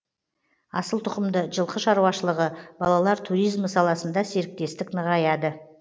асылтұқымды жылқы шаруашылығы балалар туризмі саласында серіктестік нығаяды